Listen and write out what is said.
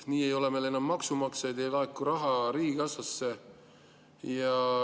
Nii ei ole meil enam maksumaksjaid, ei laeku raha riigikassasse.